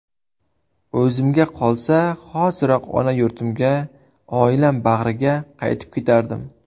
O‘zimga qolsa, hoziroq ona yurtimga, oilam bag‘riga qaytib ketardim.